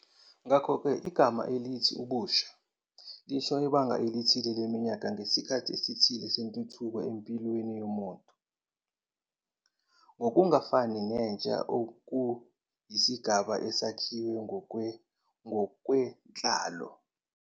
Ngakho-ke, igama elithi "ubusha" lisho ibanga elithile leminyaka ngesikhathi esithile sentuthuko empilweni yomuntu, ngokungafani nentsha okuyisigaba esakhiwe ngokwenhlalo.